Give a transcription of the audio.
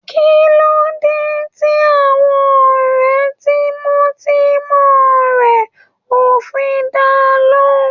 Kí ló dé tí àwọn ọ̀rẹ́ tímọ́tímọ́ rẹ̀ ò fi da lóhùn.